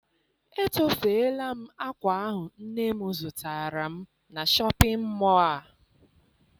Etofeela m akwa ahụ nne m zụtara m na shọpịn mọọ a.